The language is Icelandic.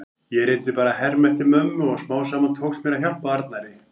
Ég reyndi bara að herma eftir mömmu og smám saman tókst mér að hjálpa Arnari.